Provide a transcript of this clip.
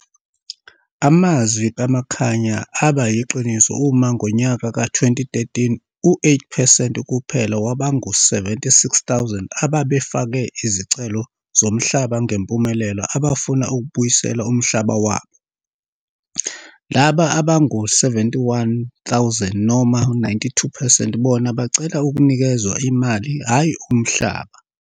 Amazwi kaMakhanya aba yiqiniso uma ngonyaka ka-2013 u-8 phesenti kuphela wabangu-76000 ababefake izicelo zomhlaba ngempumelelo abafuna ukubuyiselwa umhlaba wabo. Laba abangu-71000 noma 92 phesenti bona bacela ukunikezwa imali hhayi umhlaba.